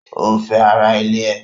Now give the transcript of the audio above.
O ń fẹ́ ara ilé ẹ̀.